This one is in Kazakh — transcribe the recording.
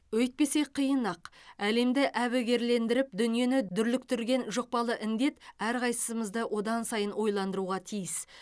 өйтпесе қиын ақ әлемді әбігерлендіріп дүниені дүрліктірген жұқпалы індет әрқайсымызды одан сайын ойландыруға тиіс